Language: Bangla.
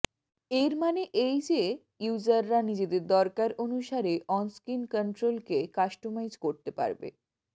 এর মানে এই যে ইউযাররা নিজেদের দরকার অনুসারে অন স্ক্রিন কন্ট্রোল কে কাস্টমাইস করতে পারবে